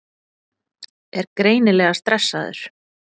Er greinilega stressaður.